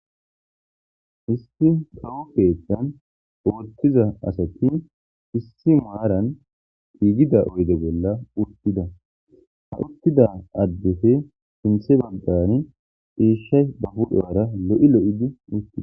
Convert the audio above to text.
Isti kawu keetan oottiza asatti issi maaran tiigida oyde bolla uttida ha uttida addefe sinthe bandani iishshay babudhoara lo7i lo7idi uttidda.